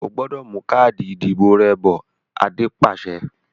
O gbúdọ̀ mú káàdì ìdìbò rẹ bọ̀! Adé pàṣẹ.